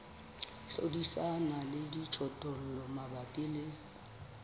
hlodisana le dijothollo mabapi le